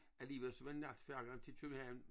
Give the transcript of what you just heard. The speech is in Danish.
Alligevel så var natfærgen til København